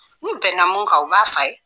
N'u bɛnna mun ka u b'a fɔ a ye